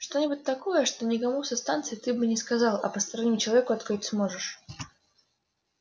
что-нибудь такое что никому со станции ты бы не сказал а постороннему человеку открыть сможешь